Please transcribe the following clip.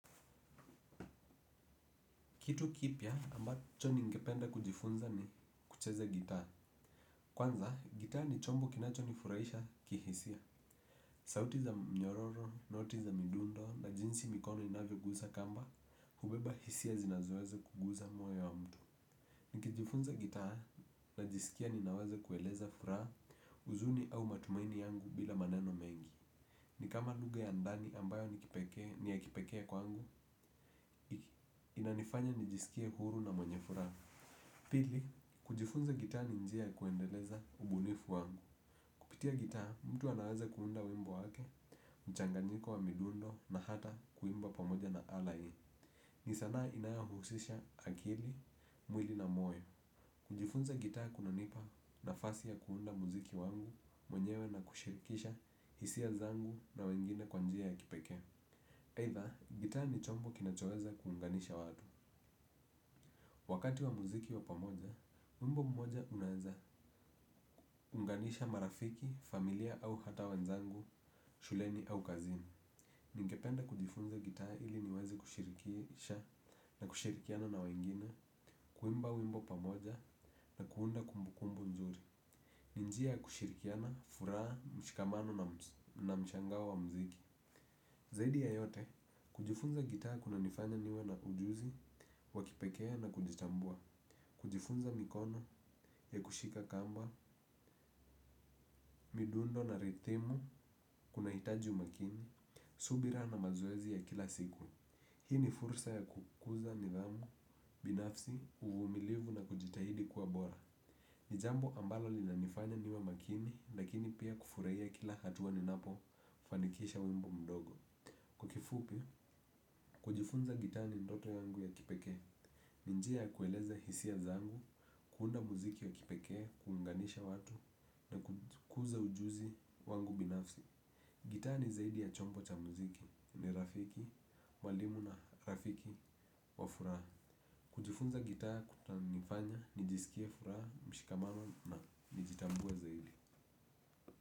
Kitu kipya ambacho ningependa kujifunza ni kucheza gitaa. Kwanza, gitaa ni chombo kinachonifurahisha kihisia. Sauti za mnyororo, noti za midundo, na jinsi mikono inavyogusa kamba, hubeba hisia zinazoweza kuguza moyo wa mtu. Nikijifunza gitaa najisikia ninaweza kueleza furaha huzuni au matumaini yangu bila maneno mengi. Nikama lugha ya ndani ambayo ni kipekee ni ya kipekee kwangu, inanifanya nijisikie huru na mwenye furaha. Pili, kujifunza gitaa ni njia ya kuendeleza ubunifu wangu. Kupitia gitaa, mtu anaweza kuunda wimbo wake, mchanganyiko wa midundo na hata kuimba pamoja na ala hii. Ni sanaa inayohusisha akili, mwili na moyo. Kujifunza gitaa kunanipa nafasi ya kuunda muziki wangu mwenyewe na kushirikisha hisia zangu na wengine kwa njia ya kipekee. Either, gitaa ni chombo kinachoweza kuunganisha watu. Wakati wa muziki wa pamoja, wimbo mmoja unaweza, unganisha marafiki, familia au hata wenzangu, shuleni au kazini. Ningependa kujifunza gitaa ili niweze kushirikisha na kushirikiana na wengine, kuimba wimbo pamoja na kuunda kumbukumbu nzuri. Ni njia ya kushirikiana, furaha, mshikamano na mshangao wa muziki. Zaidi ya yote, kujifunza gitaa kunanifanya niwe na ujuzi, wa kipekee na kujitambua. Kujifunza mikono ya kushika kamba, midundo na rithimu, kunahitaji umakini, subira na mazoezi ya kila siku. Hii ni fursa ya kukuza nidhamu, binafsi, uvumilivu na kujitahidi kuwa bora. Ni jambo ambalo linanifanya niwe makini, lakini pia kufurahia kila hatua ninapo fanikisha wimbo mdogo. Kwa kifupi, kujifunza gitaa ni ndoto yangu ya kipekee. Ni njia ya kueleza hisia zangu, kuunda muziki wa kipekee, kuunganisha watu na kukuza ujuzi wangu binafsi. Gitaa ni zaidi ya chombo cha muziki. Ni rafiki, mwalimu na rafiki wa furaha. Kujifunza gitaa kunanifanya, nijisikie furaha, mshikamano na kujitambua zaidi.